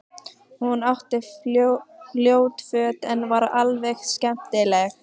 Hún átti ljót föt en var alveg skemmtileg.